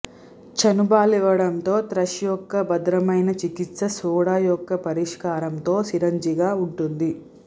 చనుబాలివ్వడంతో thrush యొక్క భద్రమైన చికిత్స సోడా యొక్క పరిష్కారంతో సిరంజిగా ఉంటుంది